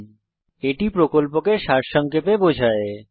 এটি কথ্য টিউটোরিয়াল প্রকল্পকে সারসংক্ষেপে বোঝায়